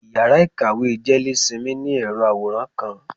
íyará ikáwe jelésímí, ni erò aworán kan.